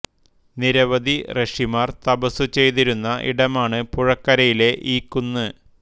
നിരവധി ഋഷിമാർ തപസ്സു ചെയ്തിരുന്ന ഇടമാണ് പുഴക്കരയിലെ ഈ കുന്ന്